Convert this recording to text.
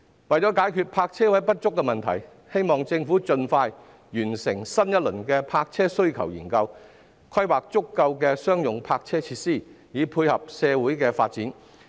為了解決泊車位不足的問題，希望政府能盡快完成新一輪的泊車需求研究，規劃足夠的商用泊車設施，以配合社會發展。